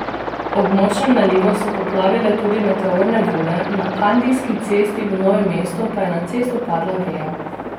Ob močnem nalivu so poplavile tudi meteorne vode, na Kandijski cesti v Novem mestu pa je na cesto padla veja.